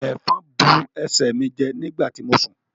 Efòn bu ẹsẹ mí jẹ nígbàtí mo sún